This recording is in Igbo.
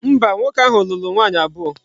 Mba, nwoke ahu lulu nwaanyi abuo.